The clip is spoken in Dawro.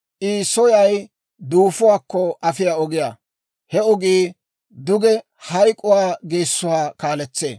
I soyay duufuwaakko afiyaa ogiyaa; he ogii duge hayk'k'uwaa geessuwaa kaaletsee.